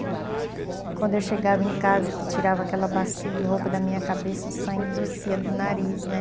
E quando eu chegava em casa, que tirava aquela bacia de roupa da minha cabeça, o sangue descia do nariz, né?